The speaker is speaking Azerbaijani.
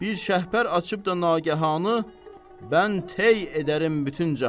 Bir şəhbər açıb da nagahanı, mən tey edərəm bütün cahanı.